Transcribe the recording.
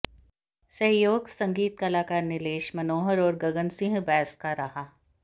सहयोग संगीत कलाकार नीलेश मनोहर और गगन सिंह बैस का रहा